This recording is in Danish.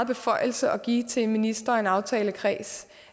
beføjelse at give til en minister og en aftalekreds